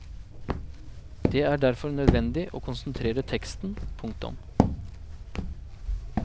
Det er derfor nødvendig å konsentrere teksten. punktum